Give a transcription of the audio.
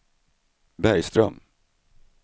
Bergström